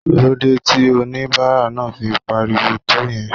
Kí ló dé tí onibara náà fi pariwo tó yẹn?